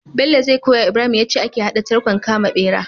Bello zai koyawa ibrahim yace ake hada tarkon kama bera